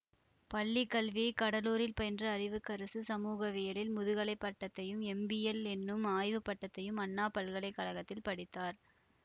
பள்ளி கல்வியை கடலூரில் பயின்ற அறிவுக்கரசு சமூகவியலில் முதுகலை பட்டத்தையும் எம்பில்என்னும் ஆய்வு பட்டத்தையும் அண்ணாமலை பல்கலை கழகத்தில் படித்தார்